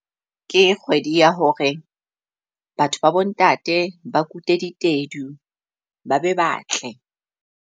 Ke kgwedi ya hore batho ba bo ntate ba kute ditedu, ba be ba tle.